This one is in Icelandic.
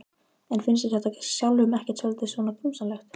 En finnst þér þetta sjálfum ekkert svolítið svona grunsamlegt?